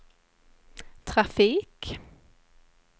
trafik